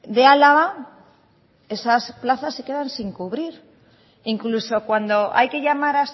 de álava esas plazas se quedan sin cubrir e incluso cuando hay que llamar